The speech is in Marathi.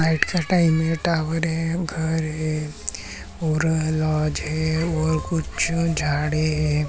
नाइट का टाइम है टॉवर है घर है और लॉज है और कुछ झाडे है।